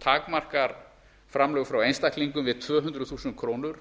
takmarkar framlög frá einstaklingum við tvö hundruð þúsund krónur